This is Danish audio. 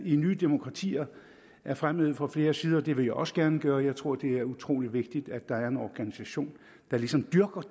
i nye demokratier er fremhævet fra flere sider og det vil jeg også gerne gøre jeg tror det er utrolig vigtigt at der er en organisation der ligesom dyrker